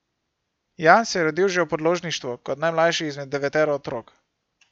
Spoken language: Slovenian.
Jan se je rodil že v podložništvu kot najmlajši izmed devetero otrok.